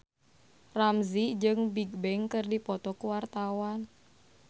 Ramzy jeung Bigbang keur dipoto ku wartawan